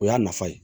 O y'a nafa ye